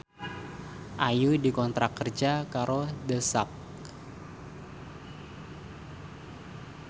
Ayu dikontrak kerja karo The Sak